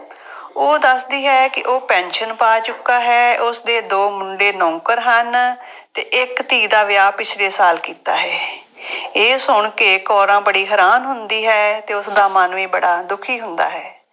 ਉਹ ਦੱਸਦੀ ਹੈ ਕਿ ਉਹ ਪੈਨਸ਼ਨ ਪਾ ਚੁੱਕਾ ਹੈ। ਉਸਦੇ ਦੋ ਮੁੰਡੇ ਨੌਕਰ ਹਨ ਅਤੇ ਇੱਕ ਧੀ ਦਾ ਵਿਆਹ ਪਿਛਲੇ ਸਾਲ ਕੀਤਾ ਹੈ। ਇਹ ਸੁਣ ਕੇ ਕੌਰਾਂ ਬੜੀ ਹੈਰਾਨ ਹੁੰਦੀ ਹੈ ਅਤੇ ਉਸਦਾ ਮਨ ਵੀ ਬੜਾ ਦੁਖੀ ਹੁੰਦਾ ਹੈ।